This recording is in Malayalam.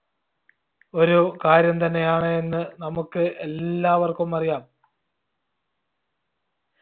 ഒരു കാര്യം തന്നെയാണ് എന്ന് നമ്മുക്ക് എല്ലാവർക്കും അറിയാം